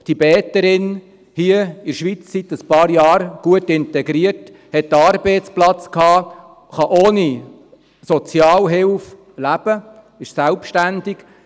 Tibeterin, seit ein paar Jahren hier in der Schweiz, gut integriert, hatte einen Arbeitsplatz, kann ohne Sozialhilfe leben, ist selbstständig.